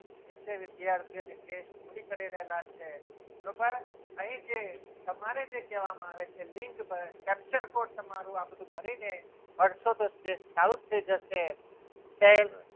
બધા વિદ્યાર્થીઓ તેમની test પૂરી કરી રહેલા છે બરોબર અહીં જે તમારી જે કહેવામાં આવે છે લિંક પર capture code આ બધું ભરીને ભરસાતો test ચાલુ થઈ જશે.